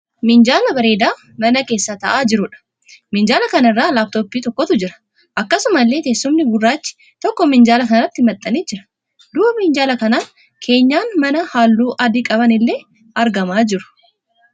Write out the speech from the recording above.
Minjaala bareeda mana keessa ta'aa jiruudha. Minjaala kana irra 'Laaptoppii' tokkotu jira. Akkasumallee teessumni gurraachi tokko minjaala kanatti maxxanee jira. Duuba minjaala kanaan keenyan manaa halluu adii qaban illee argamaa jiru.